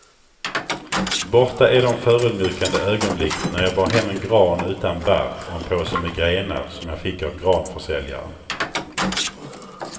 Borta är de förödmjukande ögonblick när jag bar hem en gran utan barr och en påse med grenar som jag fick av granförsäljaren.